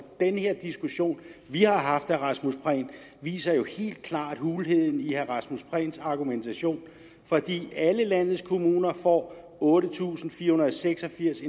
den her diskussion vi har haft viser jo helt klart hulheden i herre rasmus prehns argumentation for alle landets kommuner får otte tusind fire hundrede og seks og firs